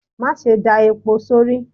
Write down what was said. Ma sé da epó sọrí